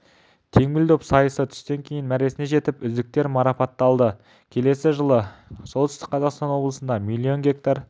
теңбіл доп сайысы түстен кейін мәресіне жетіп үздіктер марапатталады келесі жылы солтүстік қазақстан облысында миллион гектар